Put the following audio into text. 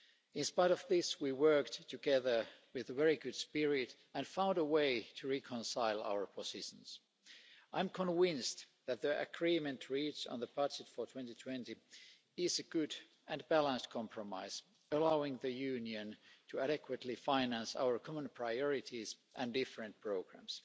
In spite of this, we worked together with a very good spirit and found a way to reconcile our positions. I am convinced that the agreement reached on the budget for 2020 is a good and balanced compromise, allowing the Union to adequately finance our common priorities and different programmes.